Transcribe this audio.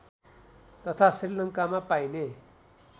तथा श्रीलङ्कामा पाइने